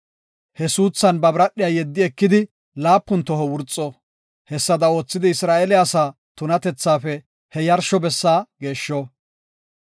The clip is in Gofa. He suuthan ba biradhiya yeddi ekidi laapun toho wurxo; hessada oothidi Isra7eele asaa tunatethaafe he yarsho bessa geeshsho.